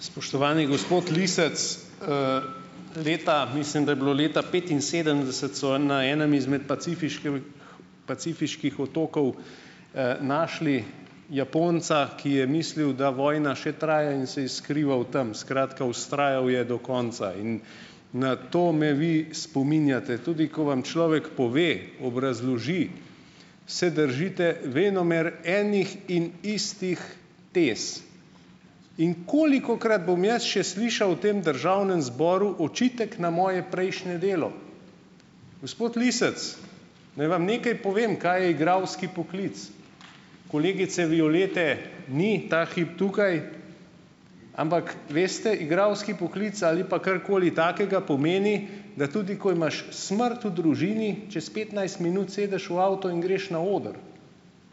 Spoštovani gospod Lisec, leta, leta, mislim, da je bilo leta petinsedemdeset, so, na enem izmed pacifiških pacifiških otokov, našli Japonca, ki je mislil, da vojna še traja, in se je skrival tam, skratka, vztrajal je do konca in na to me vi spominjate. Tudi ko vam človek pove, obrazloži, se držite venomer enih in istih, tes, in kolikokrat bom jaz še slišal v tem državnem zboru očitek na moje prejšnje delo? Gospod Lisec, naj vam nekaj povem, kaj je igralski poklic. Kolegice Violete ni ta hip tukaj, ampak veste, igralski poklic ali pa karkoli takega, pomeni, da tudi ko imaš smrt v družini, čez petnajst minut sedeš v avto in greš na oder.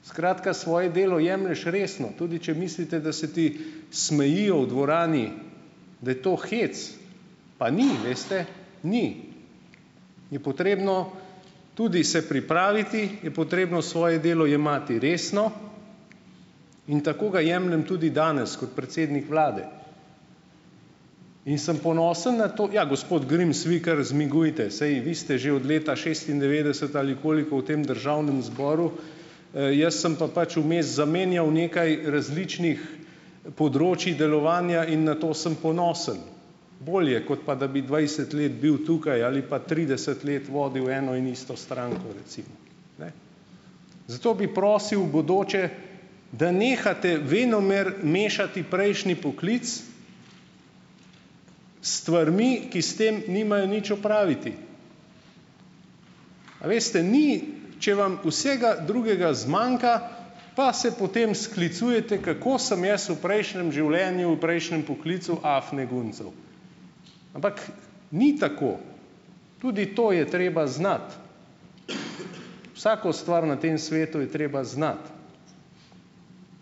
Skratka, svoje delo jemlješ resno. Tudi če mislite, da se ti smejijo v dvorani, da je to "hec", pa ni, veste? Ni. Je potrebno tudi se pripraviti, je potrebno svoje delo jemati resno in tako ga jemljem tudi danes kot predsednik vlade in sem ponosen na to, ja, gospod Grims, vi kar zmigujte, saj vi ste že od leta šestindevetdeset ali koliko v tem državnem zboru, jaz sem pa pač vmes zamenjal nekaj različnih področij delovanja in na to sem ponosen. Bolje, kot pa da bi dvajset let bil tukaj ali pa trideset let vodil eno in isto stranko, recimo, ne. Zato bi prosil, v bodoče, da nehate venomer mešati prejšnji poklic s stvarmi, ki s tem nimajo nič opraviti. A veste, ni, če vam vsega drugega zmanjka, pa se potem sklicujete, kako sem jaz v prejšnjem življenju, v prejšnjem poklicu "afne guncal", ampak ni tako. Tudi to je treba znati. Vsako stvar na tem svetu je treba znati.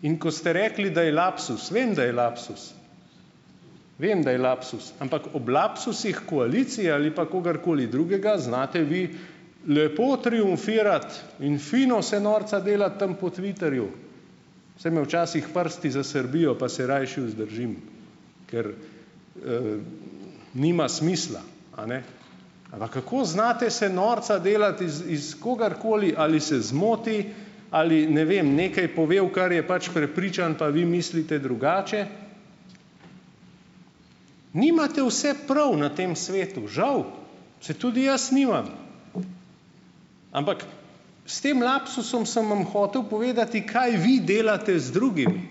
In ko ste rekli, da je lapsus - vem, da je lapsus. Vem, da je lapsus, ampak ob lapsusih koalicija ali pa kogarkoli drugega, znate vi lepo triumfirati in fino se norca delati tam po "twitterju". Saj me včasih prsti zasrbijo, pa se rajši vzdržim, ker, nima smisla, a ne. Ampak kako znate se norca delati iz iz kogarkoli, ali se zmoti ali ne vem, nekaj pove, v kar je pač prepričan, pa vi mislite drugače. Nimate vse prav na tem svetu. Žal. Saj tudi jaz nimam. Ampak s tem lapsusom sem vam hotel povedati, kaj vi delate z drugimi.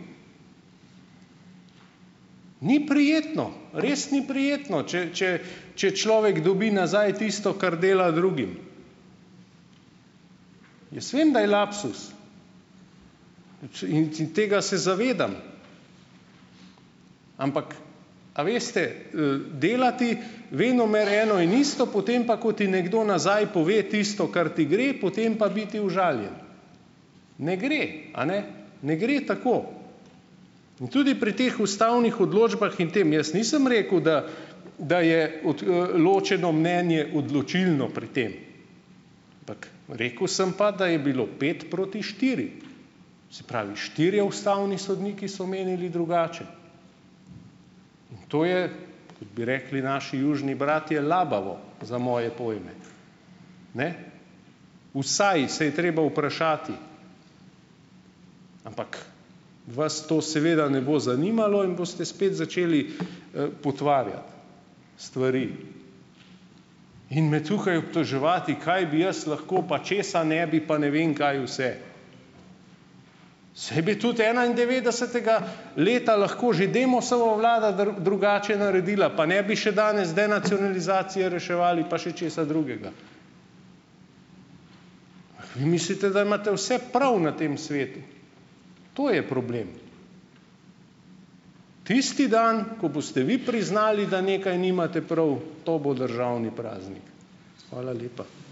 Ni prijetno, res ni prijetno, če če če človek dobi nazaj tisto, kar dela drugim. Jaz vem, da je lapsus, in tega se zavedam, ampak a veste, delati venomer eno in isto, potem pa, ko ti nekdo nazaj pove tisto, kar ti gre, potem pa biti užaljen. Ne gre, a ne? Ne gre tako. In tudi pri teh ustavnih odločbah in tem jaz nisem rekel, da da je od, ločeno mnenje odločilno pri tem, ampak rekel sem pa, da je bilo pet proti štiri, se pravi štirje ustavni sodniki so menili drugače. In to je, kot bi rekli naši južni bratje, labavo za moje pojme, ne. Vsaj se je treba vprašati, ampak vas to seveda ne bo zanimalo in boste spet začeli, potvarjati stvari in me tukaj obtoževati, kaj bi jaz lahko, pa česa ne bi, pa ne vem kaj vse. Saj bi tudi enaindevetdesetega leta lahko že Demosova vlada drugače naredila, pa ne bi še danes denacionalizacije reševali, pa še česa drugega. Ampak vi mislite, da imate vse prav na tem svetu. To je problem. Tisti dan, ko boste vi priznali, da nekaj nimate prav, to bo državni praznik. Hvala lepa.